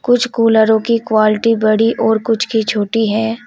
कुछ कूलरों की क्वालिटी बड़ी और कुछ की छोटी है।